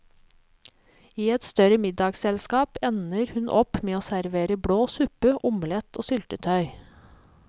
I et større middagsselskap ender hun opp med å servere blå suppe, omelett og syltetøy.